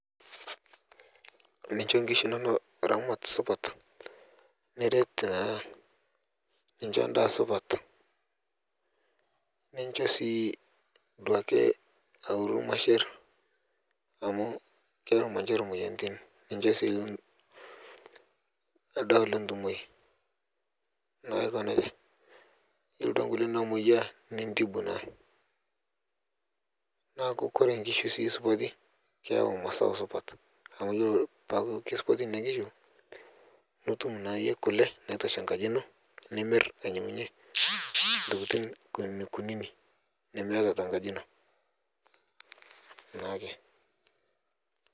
Nincho nkishu inono ramat supat niret naa nincho ndaa supat nishoo sii duake aoru lmasher amu kepik lmansher moyatiin nincho sii ldawa lentumai naa aiko neja iyelo duake nkule namoyia nintibu naa naaku kore nkishu sii supati keyeu masau supat amu iyelo tanaa keisupati nenia nkishu nitum naayie kule naitosha nkaji ino nimir ainyengunye ntokitin kunikunini nimeata tenkaji ino nake.